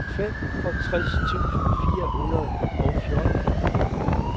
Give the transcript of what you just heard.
femogtres tusind fire hundrede og fjorten